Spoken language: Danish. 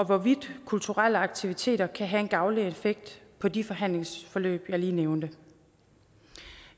hvorvidt kulturelle aktiviteter kan have en gavnlig effekt på de behandlingsforløb jeg lige nævnte